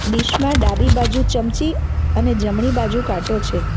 Dish માં ડાબી બાજુ ચમચી અને જમણી બાજુ કાટો છે.